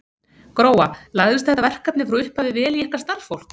Gróa, lagðist þetta verkefni frá upphafi vel í ykkar starfsfólk?